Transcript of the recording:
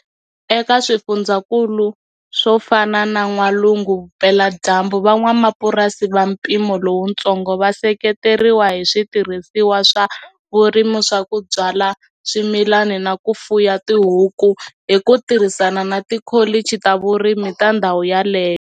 Eka swifundzakulu swo fana na N'walungu-Vupeladyambu, van'wapurasi va mpimo lowutsongo va seketeriwa hi switirhisiwa swa vurimi swa ku byala swimilani na ku fuya tihuku, hi ku tirhisana na tikholichi ta vurimi ta ndhawu yaleyo.